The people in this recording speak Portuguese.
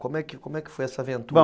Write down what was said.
Como é como é que foi essa aventura? Bom,